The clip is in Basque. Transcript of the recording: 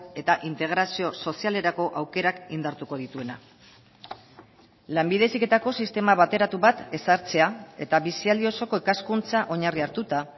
eta integrazio sozialerako aukerak indartuko dituena lanbide heziketako sistema bateratu bat ezartzea eta bizialdi osoko ikaskuntza oinarri hartuta